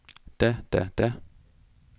da da da